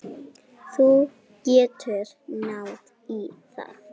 Þú getur náð í það.